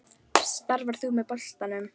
Starfar þú með boltanum?